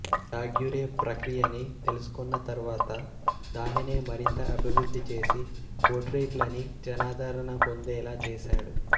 Daguerre ప్రక్రియని తెలుసుకొన్న తర్వాత దానినే మరింత అభివృద్ధి చేసి పోర్ట్రెయిట్ లని జనాదరణ పొందేలా చేశాడు